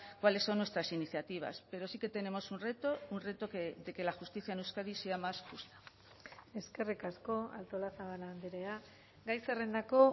cuáles son nuestras iniciativas pero sí que tenemos un reto un reto de que la justicia en euskadi sea más justa eskerrik asko artolazabal andrea gai zerrendako